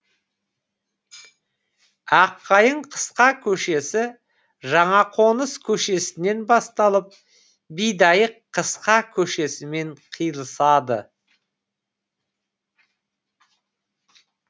аққайың қысқа көшесі жаңақоныс көшесінен басталып бидайық қысқа көшесімен қиылысады